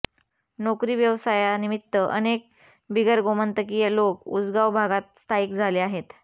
नोकरी व्यावसायानिमित्त अनेक बिगरगोमंतकीय लोक उसगांव भागात स्थायिक झाले आहेत